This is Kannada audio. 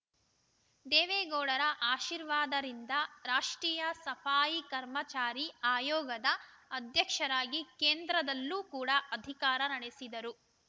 ದೇವೇಗೌಡರ ಆಶೀರ್ವಾದ ರಿಂದ ರಾಷ್ಟ್ರೀಯ ಸಫಾಯಿ ಕರ್ಮಚಾರಿ ಆಯೋಗದ ಅಧ್ಯಕ್ಷರಾಗಿ ಕೇಂದ್ರದಲ್ಲೂ ಕೂಡ ಅಧಿಕಾರ ನಡೆಸಿದರು